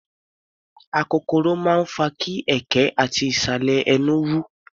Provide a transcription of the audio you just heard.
Akokoro máa ń fa kí ẹ̀ẹ̀kẹ́ ati ìsàlẹ̀ ẹnú wú.